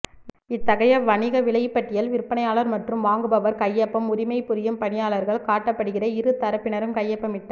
இத்தகைய வணிக விலைப்பட்டியல் விற்பனையாளர் மற்றும் வாங்குபவர் கையொப்பம் உரிமை புரியும் பணியாளர்கள் காட்டப்படுகிற இரு தரப்பினரும் கையொப்பமிட்ட